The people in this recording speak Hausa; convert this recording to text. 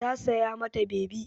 Ta saya ma ta bebi.